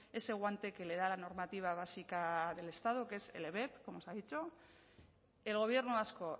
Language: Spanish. ese guante que le da la normativa básica del estado que es el ebep como se ha dicho el gobierno vasco